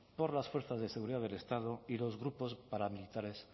por las fuerzas de seguridad del estado y los grupos paramilitares